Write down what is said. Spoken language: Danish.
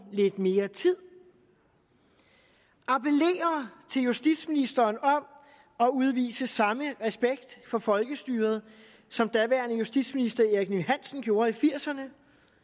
lidt mere tid appellere til justitsministeren om at udvise samme respekt for folkestyret som daværende justitsminister erik ninn hansen gjorde i nitten firserne